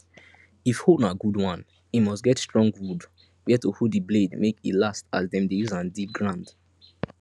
if hoe na good one e must get strong wood where to hold the blade make e last as them dey use am dig ground